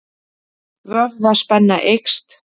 Vöðvaspenna eykst.